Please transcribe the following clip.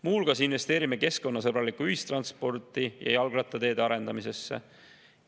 Muu hulgas investeerime keskkonnasõbralikku ühistransporti ja jalgrattateede arendamisse.